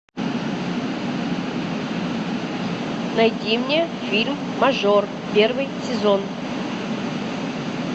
найди мне фильм мажор первый сезон